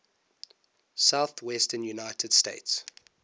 southwestern united states